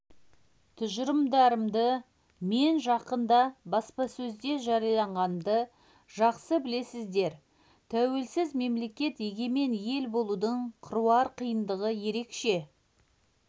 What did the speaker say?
тұжырымдарымды мен жақында баспасөзде жариялағанымды жақсы білесіздер тәуелсіз мемлекет егемен ел болудың қыруар қиындығы ерекше